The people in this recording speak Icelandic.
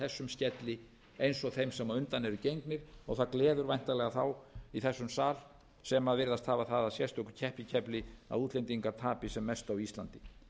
þessum skelli eins og þeim sem á undan eru gengnir og það gleður væntanlega þá í þessum sal sem virðast hafa það að sérstöku keppikefli að útlendingar tapi sem mest á íslandi